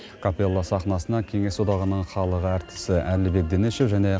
капелла сахнасына кеңес одағының халық әртісі әлібек дінішев және